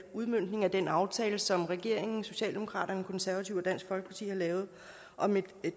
udmøntning af den aftale som regeringen socialdemokratiet de konservative og dansk folkeparti har lavet om et